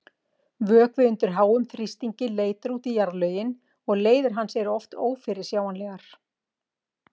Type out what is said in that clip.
Vökvi undir háum þrýstingi leitar út í jarðlögin og leiðir hans eru oft ófyrirsjáanlegar.